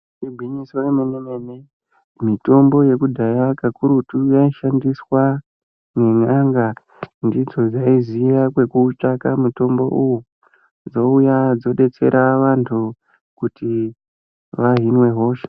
Igwinyiso remene mene mitombo yekudhaya kakurutu yaishandiswa ngen'anga ndidzo dzaiziya kwekootsvaka mutombo uyu dzouya dzodetsera antu kuti vahinwe hosha.